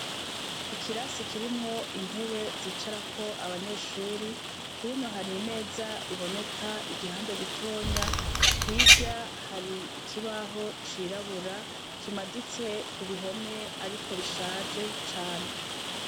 Ikirasi kirimwo intebe zicarako abanyeshure, hino hari imeza iboneka igihande gitonya, hirya hari ikibaho cirabura kimaditse ku bihome ariko bishaje cane.